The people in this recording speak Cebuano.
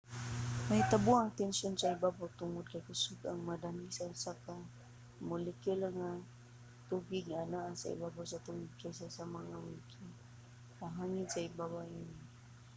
mahitabo ang tensyon sa ibabaw tungod kay kusog nga nadani sa usag-usa ang mga molekula sa tubig nga naa sa ibabaw sa tubig kaysa sa mga molekula sa hangin sa ibabaw niini